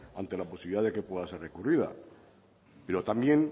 ante la posibilidad de que pueda ser recurrida pero también